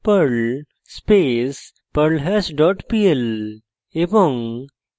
perl space perlhash dot pl